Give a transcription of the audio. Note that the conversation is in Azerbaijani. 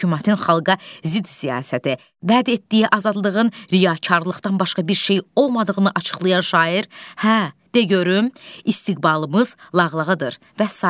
Hökümətin xalqa zidd siyasəti, bəd etdiyi azadlığın riyakarlıqdan başqa bir şey olmadığını açıqlayan şair, hə, de görüm, istiqbalımız lağlağıdır və sair.